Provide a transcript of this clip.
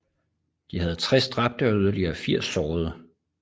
De havde 60 dræbte og yderligere 80 sårede